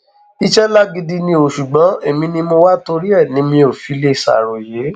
iṣẹ ńlá gidi ni ò ṣùgbọn èmi ni mo wá a torí ẹ ni mi ò fi lè ṣàròyé